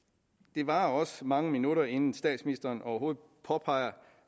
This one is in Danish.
det varede også mange minutter inden statsministeren overhovedet påpegede